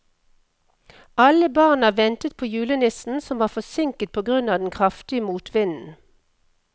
Alle barna ventet på julenissen, som var forsinket på grunn av den kraftige motvinden.